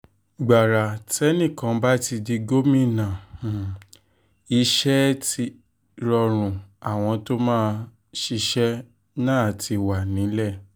gbàrà tẹ́nìkan bá ti di gómìnà um iṣẹ́ ẹ̀ ti rọrùn àwọn tó máa tó máa ṣiṣẹ́ um náà ti wà nílẹ̀